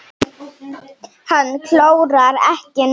Hann klórar ekki núna.